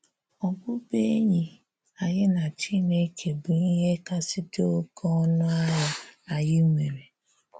Ọbụbụ̀enyì anyị na Chinekè bụ ihè kasị dị̀ oké̀ ọnụ̀ ahịà anyị nwere.